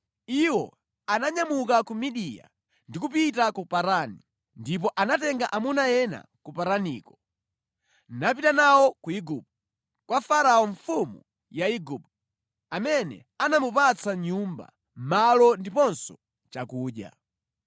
Iwo ananyamuka ku Midiya ndi kupita ku Parani. Ndipo anatenga amuna ena ku Paraniko, napita nawo ku Igupto, kwa Farao mfumu ya Igupto, amene anamupatsa nyumba, malo ndiponso chakudya.